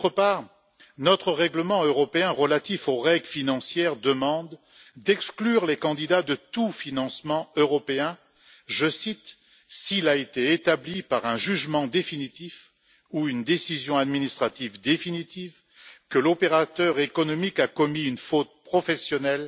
D'autre part, le règlement financier de l'Union demande d'exclure les candidats de tout financement européen je cite s'il a été établi par un jugement définitif ou une décision administrative définitive que l'opérateur économique a commis une faute professionnelle